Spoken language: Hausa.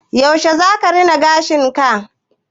Yaushe zaka rina gashinka?